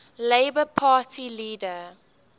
labour party leader